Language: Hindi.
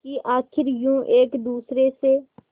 कि आखिर यूं एक दूसरे से